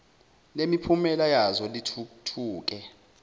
lemiphumela yazo lithuthuke